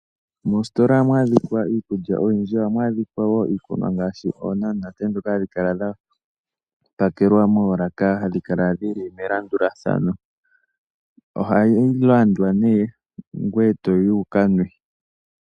Moositola ohamu adhikwa iikulya oyindji. Ohamu adhikwa wo iikunwa ngaashi oonamunate, ndhoka hadhi kala dha pakelwa moolaka hadhi kala dhi li melandulathano. Ohayi landwa nee ngoye toyi wu ka nwe.